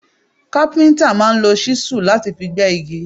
Káfíntà máa ń lò ṣísù láti fi gbé igi.